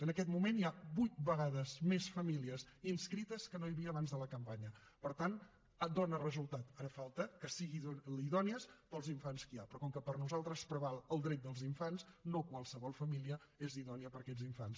en aquest moment hi ha vuit vegades més famílies inscrites que no hi havia abans de la campanya per tant dona resultat ara falta que siguin idònies per als infants que hi ha però com que per nosaltres preval el dret dels infants no qualsevol família és idònia per a aquests infants